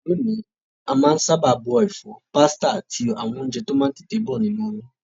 Lóde òní, a má n sábà bọ èfọ́, pasta áti àwon ounje to má n tètè bo nínú omi